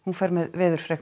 fer með veðurfregnir